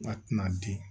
A tɛna di